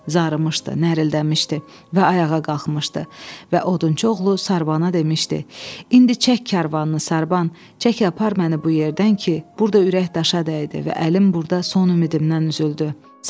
Zarıtmışdı, nərəldənmişdi və ayağa qalxmışdı və Odunçuoğlu Sarbana demişdi: "İndi çək karvanını Sarban, çək apar məni bu yerdən ki, burada ürək daşa dəydi və əlim burada son ümidimdən üzüldü."